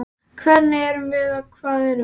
Hver erum við og hvað erum við?